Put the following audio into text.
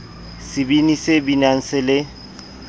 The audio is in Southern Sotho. sebini se binang se le